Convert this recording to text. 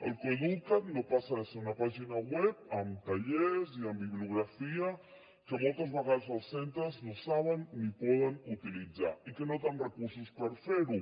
el coeduca’t no passa de ser una pàgina web amb tallers i amb bibliografia que moltes vegades els centres no saben ni poden utilitzar i que no tenen recursos per fer ho